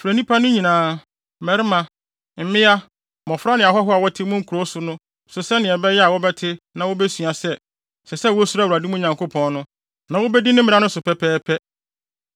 Frɛ nnipa no nyinaa, mmarima, mmea, mmofra ne ahɔho a wɔte mo nkurow so nso sɛnea ɛbɛyɛ a wɔbɛte na wobesua sɛ, ɛsɛ sɛ wosuro Awurade, mo Nyankopɔn no, na wobedi mmara no so pɛpɛɛpɛ